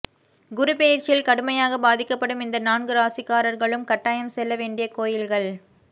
குருப்பெயர்ச்சியில் கடுமையாகப் பாதிக்கப்படும் இந்த நான்கு ராசிக்காரர்களும் கட்டாயம் செல்லவேண்டிய கோயில்கள்